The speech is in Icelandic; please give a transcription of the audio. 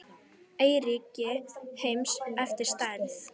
Eyríki heims eftir stærð